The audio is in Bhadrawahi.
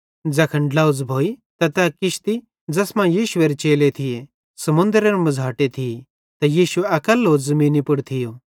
ज़ैखन ड्लोझ़ भोइ त तै किश्ती ज़ैस मां यीशुएरे चेले थिये समुन्दरेरे मझ़ाटे थी त यीशु अकैल्लो ज़मीनी पुड़ थियो